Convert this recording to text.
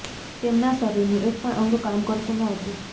તેમના શરીરનું એક પણ અંગ કામ કરતું ન હતું